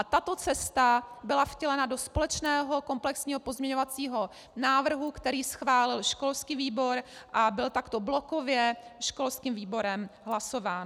A tato cesta byla vtělena do společného komplexního pozměňovacího návrhu, který schválil školský výbor a byl takto blokově školským výborem hlasován.